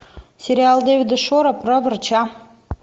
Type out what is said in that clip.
сериал дэвида шора про врача